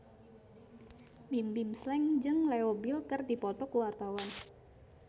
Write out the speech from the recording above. Bimbim Slank jeung Leo Bill keur dipoto ku wartawan